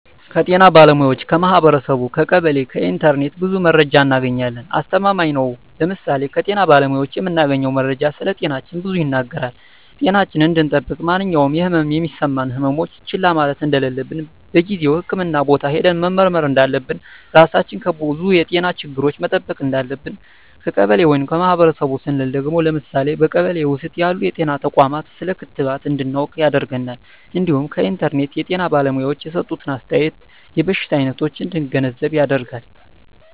ከጤና ባለሙያዎች ,ከማህበረሰቡ , ከቀበሌ ,ከኢንተርኔት ብዙ መረጃ እናገኛለን። አስተማማኝ ነው ለምሳሌ ከጤና ባለሙያዎች የምናገኘው መረጃ ስለጤናችን ብዙ ይናገራል ጤናችን እንድጠብቅ ማንኛውም የህመም የሚሰማን ህመሞች ችላ ማለት እንደለለብን በጊዜው ህክምህና ቦታ ሄደን መመርመር እንዳለብን, ራሳችን ከብዙ የጤና ችግሮች መጠበቅ እንዳለብን። ከቀበሌ ወይም ከማህበረሰቡ ስንል ደግሞ ለምሳሌ በቀበሌ ውስጥ ያሉ ጤና ተቋማት ስለ ክትባት እንድናውቅ ያደርገናል እንዲሁም ከኢንተርኔት የጤና ባለሙያዎች የሰጡትን አስተያየት የበሽታ አይነቶች እንድንገነዘብ ያደርጋል።